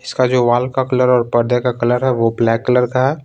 इसका जो वॉल का कलर और पर्दे का कलर है वो ब्लैक कलर का है।